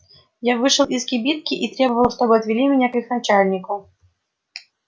я вышел из кибитки и требовал чтоб отвели меня к их начальнику